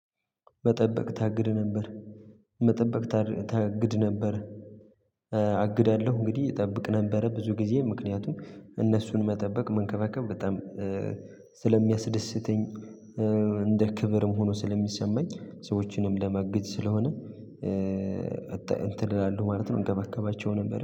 መጠበቅ ታግድ ነበር መጠበቅ ታግድ ነበር። አግዳለሁ እንግዲህ እጠብቅ ነበረ ብዙ ጊዜ ምክንያቱም እነሱን መጠበቅ መንከባከብ በጣም ስለሚያስደስተኝ እንደ ክብርም ሆኖ ስለሚሰማኝ ሰዎችንም ለማገዝ ስለሆነ። እንትን ይላሉ ማለት ነው እንገባገባቸው ነበር